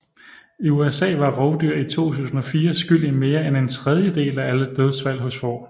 I USA var rovdyr i 2004 skyld i mere end en tredjedel af alle dødsfald hos får